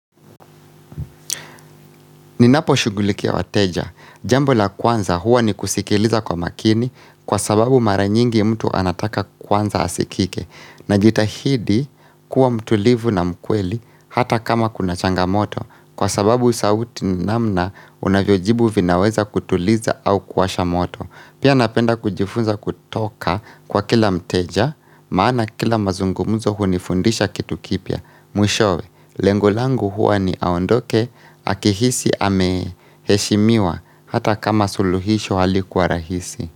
Ninaposhughulikia wateja, jambo la kwanza huwa ni kusikiliza kwa makini kwa sababu mara nyingi mtu anataka kwanza asikike. Najitahidi kuwa mtulivu na mkweli hata kama kuna changamoto kwa sababu sauti namna unavyojibu vinaweza kutuliza au kuwasha moto. Pia napenda kujifunza kutoka kwa kila mteja maana kila mazungumuzo hunifundisha kitu kipya Mwishowe, lengo langu huwa ni aondoke, akihisi ameheshimiwa hata kama suluhisho halikuwa rahisi.